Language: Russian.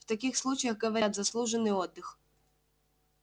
в таких случаях говорят заслуженный отдых